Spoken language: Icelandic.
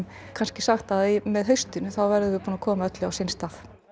kannski sagt að með haustinu þá veðrum við búin að koma öllu á sinn stað